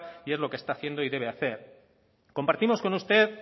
y es lo que está haciendo y debe hacer compartimos con usted